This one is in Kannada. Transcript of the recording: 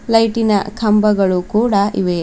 ಲೈಟಿ ನ ಕಂಬಗಳು ಕೂಡ ಇವೆ.